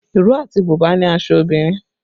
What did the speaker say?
Ìró àti bùbá ni aṣọ obìnrin